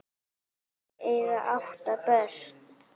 Þau eiga átján börn.